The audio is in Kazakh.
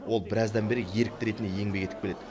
ол біраздан бері ерікті ретінде еңбек етіп келеді